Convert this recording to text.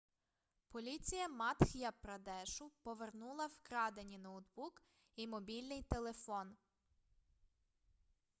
поліція мадх'я-прадешу повернула вкрадені ноутбук і мобільний телефон